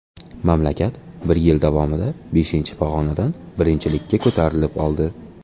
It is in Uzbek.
Mamlakat bir yil davomida beshinchi pog‘onadan birinchilikka ko‘tarilib oldi.